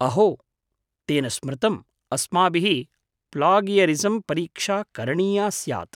अहो! तेन स्मृतम्। अस्माभिः प्लागियरिसम् परीक्षा करणीया स्यात्।